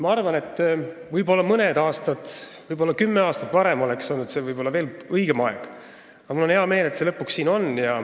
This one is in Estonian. Ma arvan, et mõned aastad, võib-olla kümme aastat tagasi oleks olnud veel õigem aeg, aga mul on hea meel, et see eelnõu lõpuks siin on.